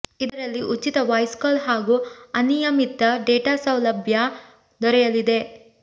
ಇದರಲ್ಲಿ ಉಚಿತ voice call ಹಾಗೂ ಅನಿಯಮಿತ ಡೇಟಾ ಸೌಲಭ್ಯ ದೊರೆಯಲಿದೆ